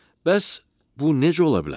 Bəs bu necə ola bilər?